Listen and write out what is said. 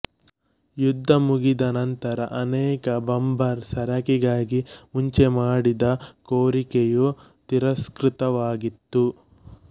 ಯುದ್ಧ ಮುಗಿದ ನಂತರ ಅನೇಕ ಬಾಂಬರ್ ಸರಕಿಗಾಗಿ ಮುಂಚೆ ಮಾಡಿದ್ದ ಕೋರಿಕೆಯು ತಿರಸ್ಕೃತವಾಗಿತ್ತು